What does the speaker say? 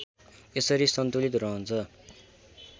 यसरी सन्तुलित रहन्छ